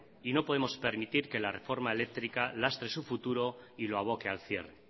y no podemos permitir que la reforma eléctrica lastre su futuro y lo aboque al cierre